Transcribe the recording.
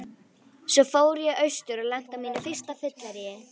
Svo fór ég austur og lenti á mínu fyrsta fylleríi.